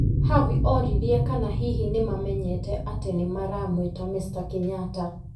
Havi oririe kana hihi nĩ mamenyete atĩ nĩ maramwĩta Mr.Kenyatta.